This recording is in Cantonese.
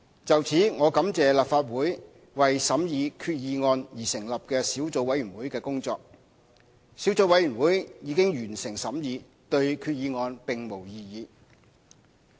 就此，我感謝立法會為審議決議案而成立的小組委員會的工作，小組委員會已完成審議，對決議案並無異議。